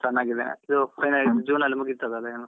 ಚನ್ನಗಿದ್ದೇನೆ ನೀವು? final year June ಅಲ್ಲಿ ಮುಗಿತದಲ ಇನ್ನು.